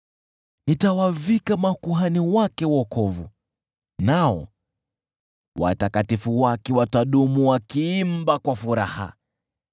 Nitawavika makuhani wake wokovu, nao watakatifu wake watadumu wakiimba kwa furaha.